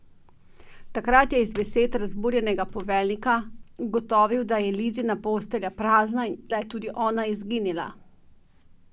Takrat je iz besed razburjenega poveljnika ugotovil, da je Lizina postelja prazna in da je tudi ona izginila!